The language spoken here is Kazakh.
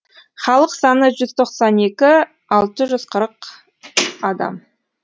халық саны жүз тоқсан екі мың алты жүз қырық адам